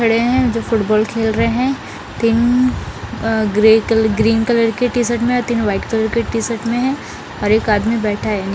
खड़े हैं जो फुटबॉल खेल रहे हैं तीन अ ग्रे कलर ग्रीन कलर की टी-शर्ट में हैं तीन वाइट कलर की टी-शर्ट में है और एक आदमी बैठा है।